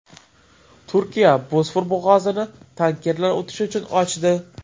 Turkiya Bosfor bo‘g‘ozini tankerlar o‘tishi uchun ochdi.